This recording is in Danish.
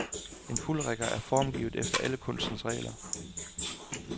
En fuldrigger er formgivet efter alle kunstens regler.